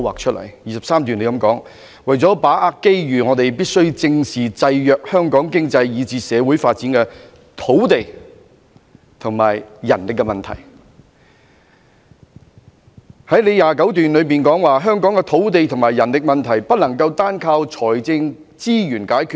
第23段提到："為了把握機遇，我們必須正視制約香港經濟以至社會發展的土地和人力問題"；第29段則提到："香港的土地和人力問題，不能單靠財政資源解決。